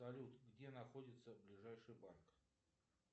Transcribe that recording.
салют где находится ближайший банк